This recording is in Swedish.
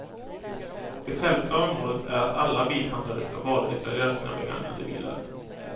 Det självklara målet är att alla bilhandlare ska varudeklarera sina begagnade bilar.